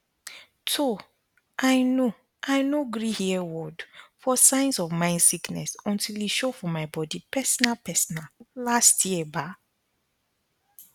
toh i no i no gree hear word for signs of mind sickness until e show for my body personalpersonal last year ba